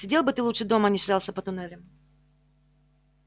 сидел бы ты лучше дома а не шлялся по туннелям